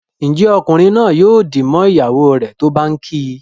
Njé Ọkunrin naa yóò dì mọ ìyàwó rẹ tó bá ǹ kí?